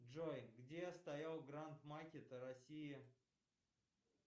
джой где стоял гранд макет россия